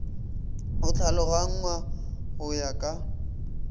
e tlhaloganngwa go ya ka